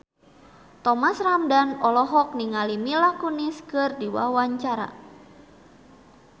Thomas Ramdhan olohok ningali Mila Kunis keur diwawancara